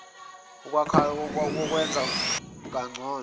kumklhakah wokwenza kangcono